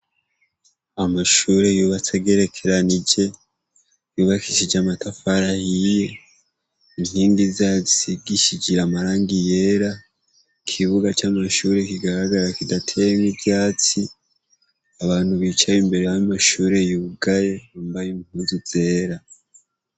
Amashure yubatse gerekeranije yubakishije amatafarahiye inkingi zazsi gishijira amaranga iyera ikibuga c'amashure kigaragara kidatemwe ivyatsi abantu bicaye imbere ab'amashure yugaye bambaye impuzu zera.